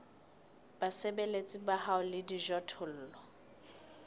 basebeletsi ba hao le dijothollo